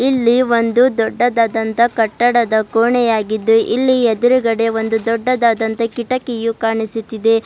ಇಲ್ಲಿ ಒಂದು ದೊಡ್ಡದಾದಂತ ಕಟ್ಟಡದ ಕೋಣೆಯಾಗಿದ್ದು ಇಲ್ಲಿ ಎದ್ರುಗಡೆ ಒಂದು ದೊಡ್ಡದಾದಂತ ಕಿಟಕಿಯು ಕಾಣಿಸುತ್ತಿದೆ.